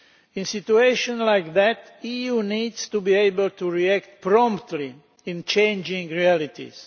In a situation like that, the EU needs to be able to react promptly to changing realities.